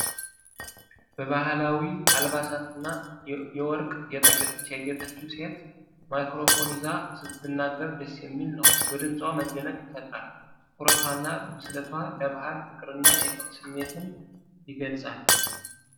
በባህላዊ አልባሳትና የወርቅ ጌጣጌጦች ያጌጠችው ሴት ማይክሮፎን ይዛ ስትናገር ደስ የሚል ነው፣ በድምጿ መደነቅን ይፈጥራል። ትኩረቷና ብስለትዋ፣ ለባህል ፍቅርንና የክብር ስሜትን ይገልጻል።